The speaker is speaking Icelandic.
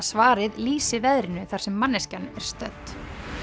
svarið lýsi veðrinu þar sem manneskjan er stödd